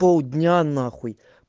полдня нахуй